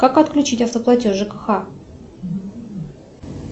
как отключить автоплатеж жкх